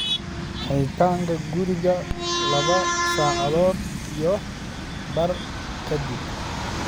xidhitaanka guriga laba saacadood iyo badh ka dib